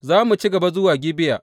Za mu ci gaba zuwa Gibeya.